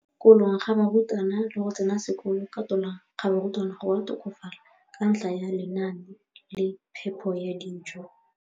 Kolong ga barutwana le go tsena sekolo ka tolamo ga barutwana go a tokafala ka ntlha ya lenaane la phepo ya dijo.